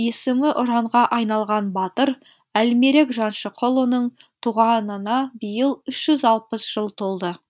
есімі ұранға айналған батыр әлмерек жаншықұлының туғанына биыл үш жүз алпыс жыл толды